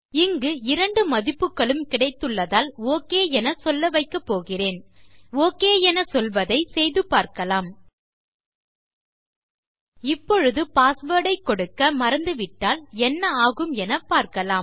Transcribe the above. இங்கு இரண்டு மதிப்புகளும் கிடைத்துள்ளதால் ஒக் என சொல்ல வைக்கப் போகிறேன் okஎன சொல்வதை செய்து பார்க்கலாம் இப்பொழுது பாஸ்வேர்ட் ஐ கொடுக்க மறந்து விட்டால் என்ன ஆகும் என பார்க்கலாம்